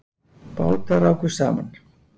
Bátar rákust saman